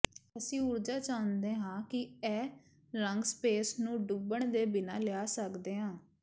ਅਸੀਂ ਊਰਜਾ ਚਾਹੁੰਦੇ ਹਾਂ ਕਿ ਇਹ ਰੰਗ ਸਪੇਸ ਨੂੰ ਡੁੱਬਣ ਦੇ ਬਿਨਾਂ ਲਿਆ ਸਕਦੇ ਹਨ